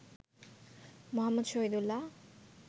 Muhammad Shahidullah